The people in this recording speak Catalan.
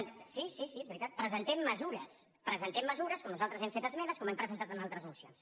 sí sí sí és veritat presentem mesures presentem mesures com nosaltres hem fet esmenes com hem presentat en altres mocions